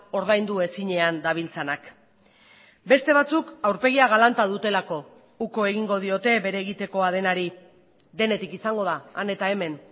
ordaindu ezinean dabiltzanak beste batzuk aurpegia galanta dutelako uko egingo diote bere egitekoa denari denetik izango da han eta hemen